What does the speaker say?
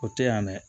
O tɛ yan dɛ